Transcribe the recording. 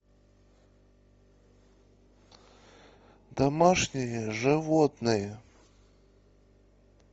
домашние животные